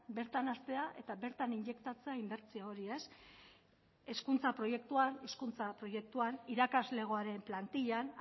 bertan hastea eta bertan injektatzea inbertsio hori hezkuntza proiektua hezkuntza proiektuan irakaslegoaren plantillan